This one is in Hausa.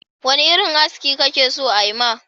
Wane irin aski kake so ayi ma?